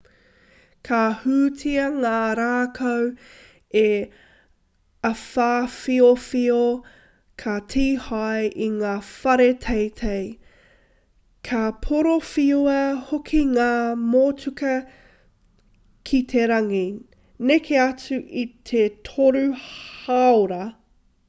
ka hūtia ngā rākau e te āwhawhiowhio ka tīhae i ngā whare teitei ka porowhiua hoki ngā motuka ki te rangi neke atu i te toru hāora ngā āwhawhiowhio kaha rawa atu e rērere ana